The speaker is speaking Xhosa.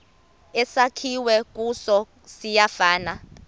esakhiwe kuso siyafana